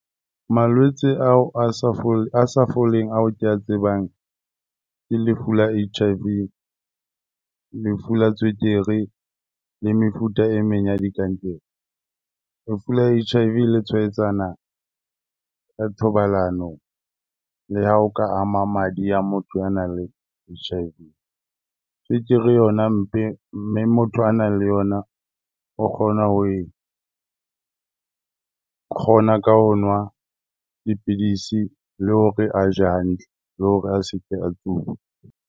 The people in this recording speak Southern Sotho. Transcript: Malwetse ao a sa a sa foleng ao ke a tsebang, ke le lefu la H_I_V, lefu la tswekere le mefuta e meng ya dikankere. Lefu la H_I_V le tshwaetsana ka thobalano le ha o ka ama madi a motho a nang le H_I_V. Tswekere yona motho a nang le yona o kgona ho e, kgona ka ho nwa dipidisi, le hore a je hantle le hore a se ke a tsuba.